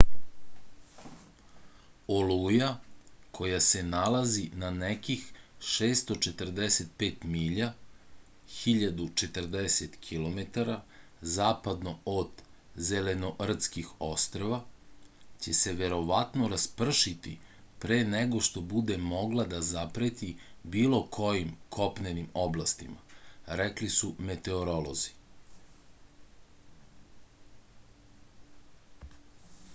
олуја која се налази на неких 645 миља 1040 km западно од зеленортских острва ће се вероватно распршити пре него што буде могла да запрети било којим копненим областима рекли су метеоролози